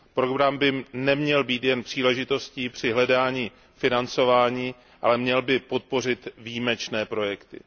Program by neměl být jen příležitostí při hledání financování, ale měl by podpořit výjimečné projekty.